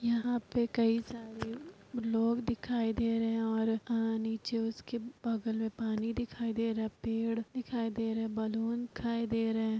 यहाँ पे कई सारे लोग दिखाई दे रहे हैं और अ नीचे उसके बगल में पानी दिखाई दे रहा है पेड़ दिखाई दे रहे हैं बलून दिखाई दे रहे हैं |